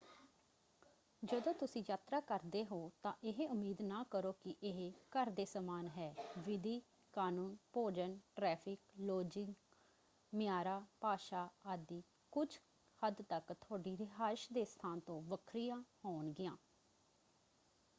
ਜਦੋਂ ਤੁਸੀਂ ਯਾਤਰਾ ਕਰਦੇ ਹੋ ਤਾਂ ਇਹ ਉਮੀਦ ਨਾ ਕਰੋ ਕਿ ਇਹ ਘਰ ਦੇ ਸਮਾਨ ਹੈ। ਵਿਧੀ ਕਾਨੂੰਨ ਭੋਜਨ ਟ੍ਰੈਫਿਕ ਲੌਜਿੰਗ ਮਿਆਰਾਂ ਭਾਸ਼ਾ ਆਦਿ ਕੁੱਝ ਹੱਦ ਤੱਕ ਤੁਹਾਡੀ ਰਿਹਾਇਸ਼ ਦੇ ਸਥਾਨ ਤੋਂ ਵੱਖਰੀ ਹੋਣਗੀਆਂ।